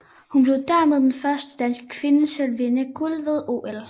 Hun blev dermed den første danske kvinde til at vinde guld ved OL